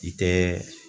I tɛ